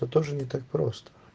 да тоже не так просто